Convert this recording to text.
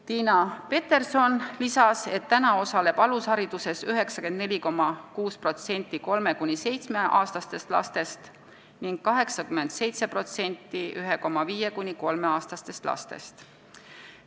Tiina Peterson lisas, et praegu osaleb alushariduses 94,6% 3–7-aastastest lastest ning 87% 1,5–3-aastastest lastest.